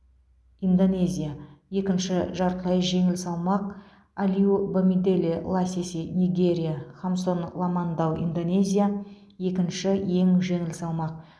индонезия екінші жартылай жеңіл салмақ алиу бамиделе ласиси нигерия хамсон ламандау индонезия екінші ең жеңіл салмақ